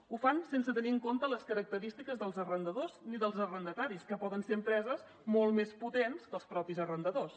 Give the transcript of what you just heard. ho fan sense tenir en compte les característiques dels arrendadors ni dels arrendataris que poden ser empreses molt més potents que els mateixos arrendadors